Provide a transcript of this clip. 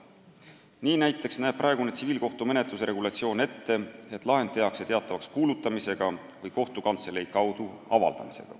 Nii näiteks näeb praegune tsiviilkohtumenetluse regulatsioon ette, et lahend tehakse teatavaks kuulutamisega või kohtukantselei kaudu.